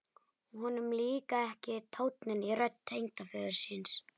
Honum líkaði ekki tónninn í rödd tengdaföður síns.